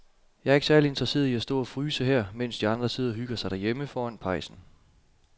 Jeg er ikke særlig interesseret i at stå og fryse her, mens de andre sidder og hygger sig derhjemme foran pejsen.